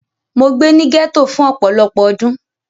Mo gbé ní gẹ́tò fún ọpọlọ́pọ́ ọdún.